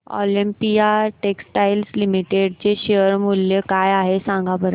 Olympia textiles limited चे share मूल्य काय आहे सांगा बरं